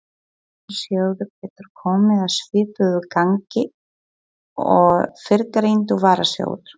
Slíkur sjóður getur komið að svipuðu gagni og fyrrgreindur varasjóður.